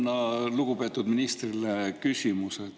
Mul on lugupeetud ministrile küsimus.